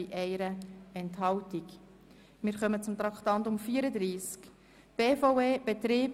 Die FiKo hat auch dieses Kreditgeschäft vorbereitet.